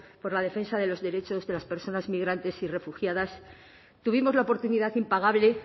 por la defensa de los derechos de las personas migrantes y refugiadas tuvimos la oportunidad impagable